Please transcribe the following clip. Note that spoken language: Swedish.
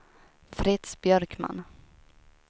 Fritz Björkman